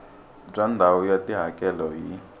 bya ndhawu ya tihakelo hi